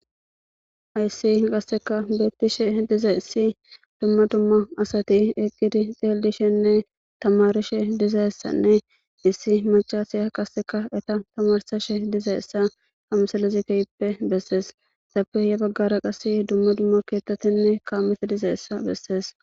ayssi qasseka beettishe diza issi dumma dumma asati eqqidi xeeldishenne tamarishe dizayessanne issi macasiya qasseka eta tamarsashe diza essa hamsalezikeyppe bessees sapeye baggara qass dumma dumma keettatinne kaamete diza essa bessees